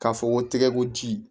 K'a fɔ ko tɛgɛko ji